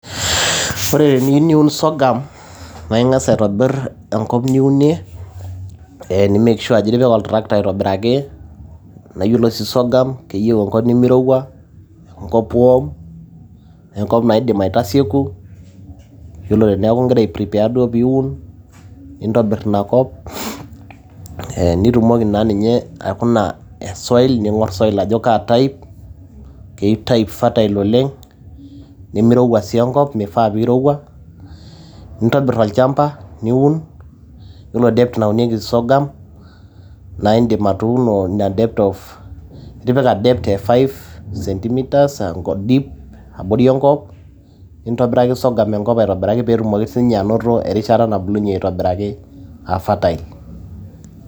Ore teniyieu niun sorghum, naa ing'as aitobir enkop niunie, nimake sure iti[ika oltracta aitobiraki. Naa iyiolo ashi sorghum keyieu enkop nemeirowua, enkop warm enkop naidim aitasieku iyiolo te tinigira aiprepare duo pee iun, nintobir ina kop, ee nitumoki naa ninye aikuna soil, ning'or soil ajo kaa soil keitayu fertile oleng' nemeirowua sii enkop meifaa pee eirowua. Nintobir olchamba niun iyiolo depth naunieki sorghum, naidim atuuno ina depth of five centimitres nintobiraki sorghum. atipika enkop aitobiraki peyie itumoki sii ninye anoto erishata na bulunye.